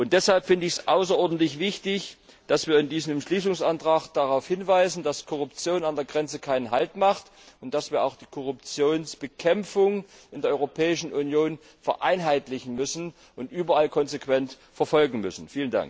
Deshalb halte ich es für außerordentlich wichtig, dass wir in diesem Entschließungsantrag darauf hinweisen, dass Korruption nicht an der Grenze haltmacht, und dass wir auch die Korruptionsbekämpfung in der Europäischen Union vereinheitlichen und überall konsequent verfolgen müssen.